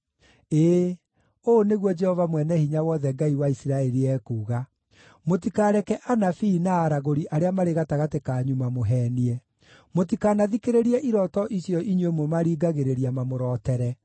Ĩĩ, ũũ nĩguo Jehova Mwene-Hinya-Wothe, Ngai wa Isiraeli, ekuuga: “Mũtikareke anabii na aragũri arĩa marĩ gatagatĩ kanyu mamũheenie. Mũtikanathikĩrĩrie irooto icio inyuĩ mũmaringagĩrĩria mamũrotere.